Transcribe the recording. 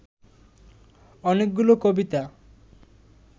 অনেকগুলো কবিতা